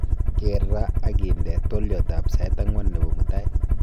keer ra ak inde twolyot ab sait akwan nebo mutai